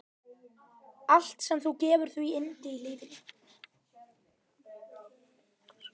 Allt sem gefur því yndi í lífinu.